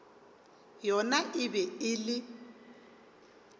yona e be e le